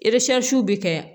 bɛ kɛ